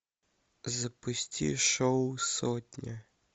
запусти шоу сотня